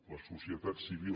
la societat civil